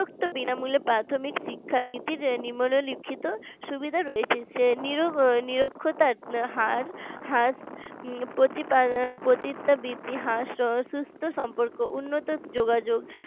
বিনামূল্যে প্রাথমিক শিক্ষার নীতির নিম্নলিখিত সুবিধা রয়েছে নিরক্ষতার হার হ্রাস প্রতি সুস্থ সম্পর্ক উন্নত যোগাযোগ